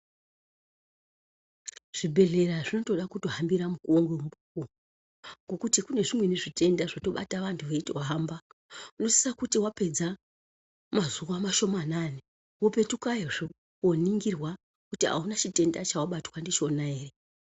Zvibhedhlera zvinotoda kuhambira mukuvo ngemukuvo ngekuti kune zvimweni zvitenda zvotobata vantu veitohamba. Unosiso kuti vapedza mazuva mashomanani opetukayozve koningirwa kuti hauna chitenda chavabatwa ndichona ere.